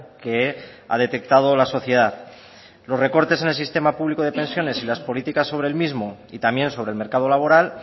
que ha detectado la sociedad los recortes en el sistema público de pensiones las políticas sobre el mismo y también sobre el mercado laboral